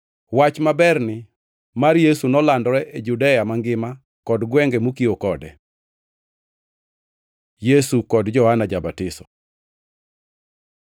Wach maberni mar Yesu nolandore e Judea mangima kod gwenge mokiewo kode. Yesu kod Johana ja-Batiso